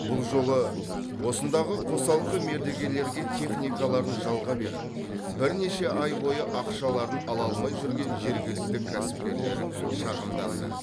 бұл жолы осындағы қосалқы мердігерлерге техникаларын жалға беріп бірнеше ай бойы ақшаларын ала алмай жүрген жергілікті кәсіпкерлер шағымданды